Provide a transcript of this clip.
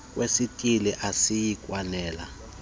kwesithili asiyi kwanela